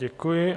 Děkuji.